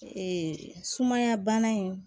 Ee sumaya bana in